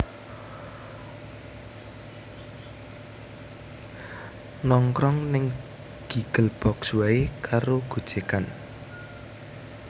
Nongkrong ning Giggle Box wae karo gojekan